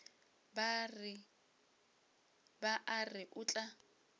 ba a re o tla